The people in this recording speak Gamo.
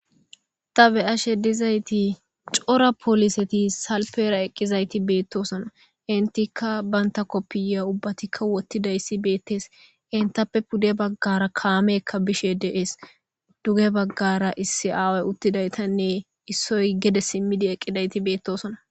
Ta be ashe dizayti cora poliseti salpera eqqizayti beettosona intikka banta koppiya ubbatikka wottidayssi beettees entappe pudde baggara kaameekka bishe de'es duge baggara issi aaway uttidaytanne issoy gede simmidi eqqidayti beettosona